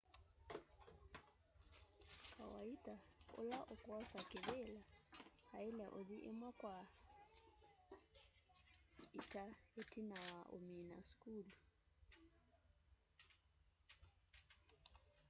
kawaita ula ukwosa kivila aile uthi imwe kwa ita itina wa umina sukulu